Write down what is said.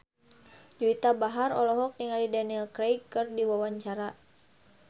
Juwita Bahar olohok ningali Daniel Craig keur diwawancara